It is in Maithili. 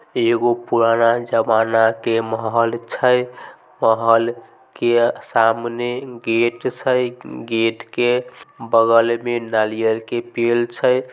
एगो पुराना जमाना के महल छै महल के सामने गेट छै गेट के बगल में नारियल के पेड़ छै।